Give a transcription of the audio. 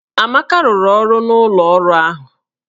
Amaka rụrụ ọrụ n'ụlọ ọrụ ahụ